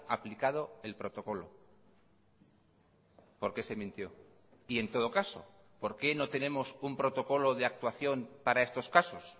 aplicado el protocolo por qué se mintió y en todo caso por qué no tenemos un protocolo de actuación para estos casos